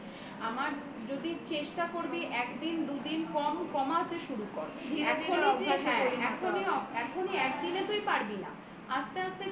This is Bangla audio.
আমার যদি চেষ্টা করবি একদিন দুদিন কমাতে শুরু কর এখনই একদিনে তুই পারবি না আস্তে আস্তে